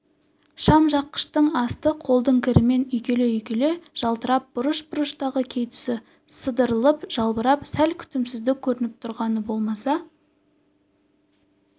шам жаққыштың асты қолдың кірімен үйкеле-үйкеле жылтырап бұрыш-бұрыштағы кей тұсы сыдырылып жалбырап сәл күтімсіздік көрініп тұрғаны болмаса